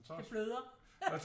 Det bløder